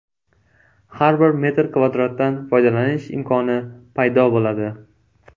Har bir metr kvadratdan foydalanish imkoni paydo bo‘ladi.